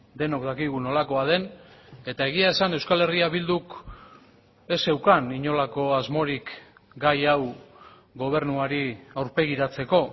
denok dakigu nolakoa den eta egia esan euskal herria bilduk ez zeukan inolako asmorik gai hau gobernuari aurpegiratzeko